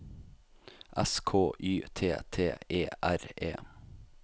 S K Y T T E R E